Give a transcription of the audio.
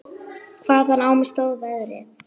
Hvaðan á mig stóð veðrið.